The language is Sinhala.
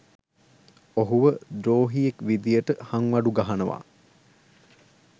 ඔහුව ද්‍රෝහියෙක් විදියට හංවඩු ගහනවා.